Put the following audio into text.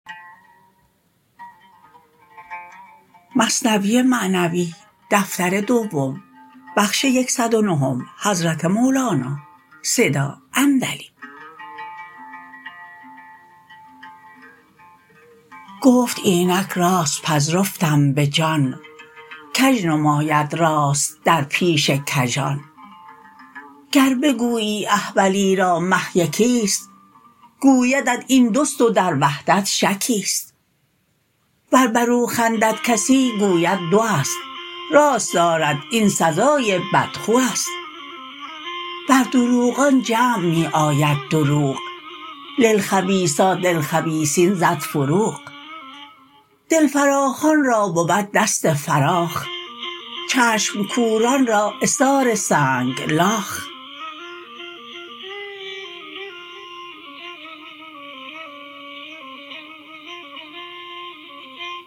گفت اینک راست پذرفتم به جان کژ نماید راست در پیش کژان گر بگویی احولی را مه یکی ست گویدت این دوست و در وحدت شکی ست ور برو خندد کسی گوید دو است راست دارد این سزای بدخو است بر دروغان جمع می آید دروغ للخبیثات الخبیثین زد فروغ دل فراخان را بود دست فراخ چشم کوران را عثار سنگ لاخ